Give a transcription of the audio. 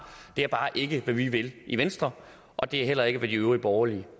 det er bare ikke hvad vi vil i venstre og det er heller ikke hvad de øvrige borgerlige